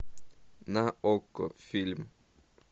на окко фильм